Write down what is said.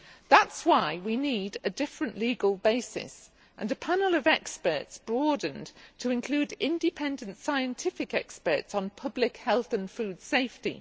That is why we need a different legal basis and a panel of experts broadened to include independent scientific experts on public health and food safety.